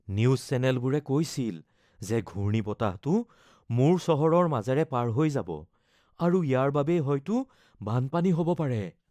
news চেনেলবোৰে কৈছিল যে ঘূৰ্ণীবতাহটো মোৰ চহৰৰ মাজেৰে পাৰ হৈ যাব আৰু ইয়াৰ বাবেই হয়তো বানপানী হ’ব পাৰে